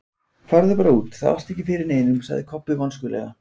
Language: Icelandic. Farðu bara út, þá ertu ekki fyrir neinum, sagði Kobbi vonskulega.